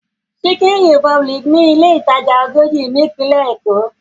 Chicken republic ni ilé ìtajà ogójì ni Ìpínlẹ̀ Èkó